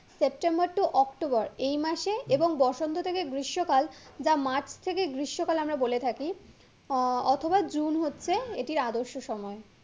September to October এই মাসে এবং বসন্ত থেকে গ্রীষ্ম কাল যা মার্চ থেকে গ্রীষ্ম কাল আমরা বলে থাকি আহ অথবা জুন হচ্ছে এটির আদর্শ সময়।